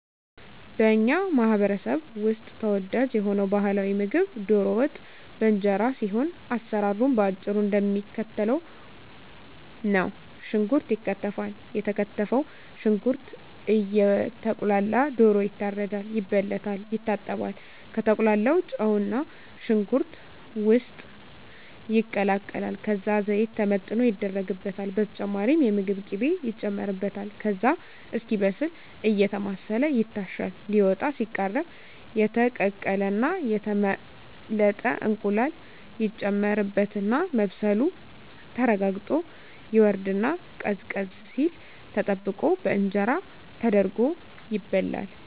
በኛ ማህበረሰብ ውስጥ ተወዳጅ የሆነው ባህላዊ ምግብ ደሮ ወጥ በእንጀራ ሲሆን አሰራሩም በአጭሩ እደሚከተለው ነው። ሽንኩርት ይከተፋል የተከተፈው ሽንኩርት እየቁላላ ደሮ ይታረዳል፣ ይበለታል፣ ይታጠባል፣ ከተቁላላው ጨውና ሽንኩርት ውስጥ ይቀላቀላል ከዛ ዘይት ተመጥኖ ይደረግበታል በተጨማሪም የምግብ ቅቤ ይጨመርበታል ከዛ እስኪበስል አየተማሰለ ይታሻል ሊወጣ ሲቃረብ የተቀቀለና የተመለጠ እንቁላል ይጨመርበትና መብሰሉ ተረጋግጦ ይወርድና ቀዝቀዝ ሲል ተጠብቆ በእንጀራ ተደርጎ ይበላል።